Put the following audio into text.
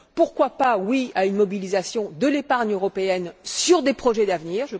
Pourquoi pas oui à une mobilisation de l'épargne européenne en faveur de projets d'avenir?